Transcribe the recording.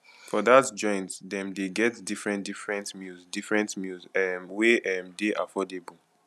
for dat joint dem dey get different different meals different meals um wey um dey affordable